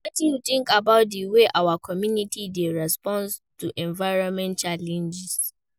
Wetin you think about di way our community dey respond to environmental challenges?